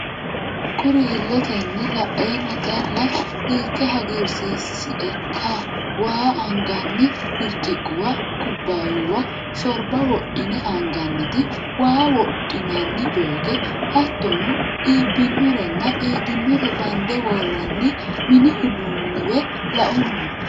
Kuri iletenni laenna calla hiikke hagiirsiisiekka waa anganni birciquwa, kubbayuwa, shorba wodhine anganniti ,waa wodhinani jokke, hattono iibbinorenna qiidinore bande worranni mini uduunewe lauummo.